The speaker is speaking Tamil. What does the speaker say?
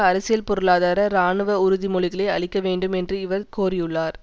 அரசியல் பொருளாதார இராணுவ உறுதிமொழிகளை அளிக்க வேண்டும் என்று இவர் கோரியுள்ளார்